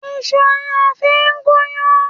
Ìṣu ni a fí gún yán.